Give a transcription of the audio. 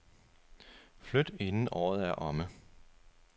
Flyt inden året er omme.